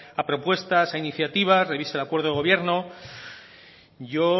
a propuestas a iniciativas revise el acuerdo de gobierno yo